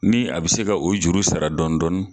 Ni a be se ka o juru sara dɔɔni dɔɔni